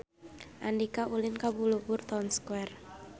Andika ulin ka Balubur Town Square